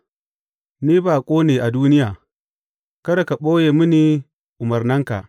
Ni baƙo ne a duniya; kada ka ɓoye mini umarnanka.